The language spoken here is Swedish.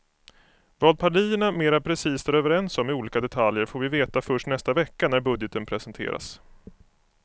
Vad partierna mera precist är överens om i olika detaljer får vi veta först nästa vecka när budgeten presenteras.